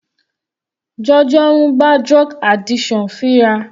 Jojo ń bá drug addiction fínra.